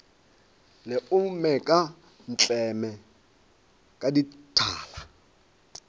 le omeka ntleme ka dithala